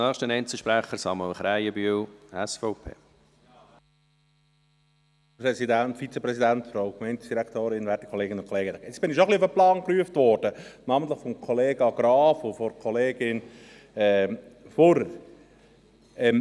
Jetzt wurde ich schon ein wenig auf den Plan gerufen, namentlich von Kollege Graf und Kollegin Fuhrer.